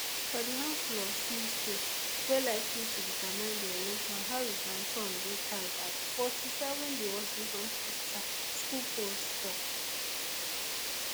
for di handfull of swing states wey likely to determine di election harris and trump dey tied at forty-seven di washington postschar school poll stok